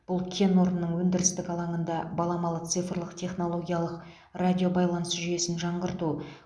бұл кен орнының өндірістік алаңында баламалы цифрлық технологиялық радиобайланыс жүйесін жаңғырту